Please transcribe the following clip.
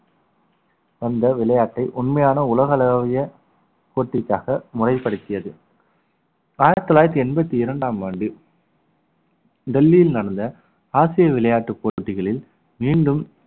வந்த விளையாட்டை உண்மையான உலகளாவிய போட்டிக்காக முறைப்படுத்தியது ஆயிரத்தி தொள்ளாயிரத்தி எண்பத்தி இரண்டாம் ஆண்டு டெல்லியில் நடந்த ஆசிய விளையாட்டுப் போட்டிகளில் மீண்டும்